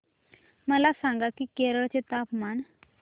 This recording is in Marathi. मला सांगा की केरळ चे तापमान